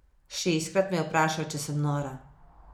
Šestkrat me je vprašal, če sem nora.